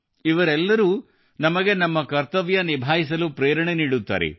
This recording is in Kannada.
ಇವರೆಲ್ಲರೂ ನಮಗೆ ನಮ್ಮ ಕರ್ತವ್ಯ ನಿಭಾಯಿಸಲು ಪ್ರೇರಣೆ ನೀಡುತ್ತಾರೆ